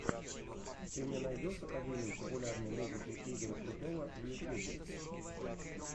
ты мне найдешь академию популярной музыки игоря крутого в ютюбе